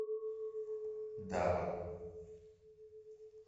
дава